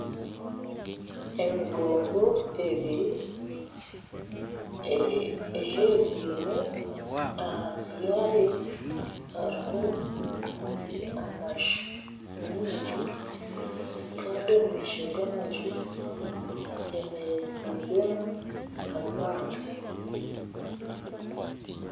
Emigongo ebiri eherereine ahansi yaayo hariyo amaju mingi kandi omu maisho g'amaju heemereziibwemu amaato